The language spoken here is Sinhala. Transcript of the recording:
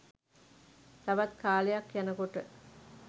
තවත් කාලයක් යනකොට